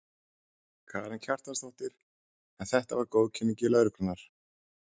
Karen Kjartansdóttir: En þetta var góðkunningi lögreglunnar?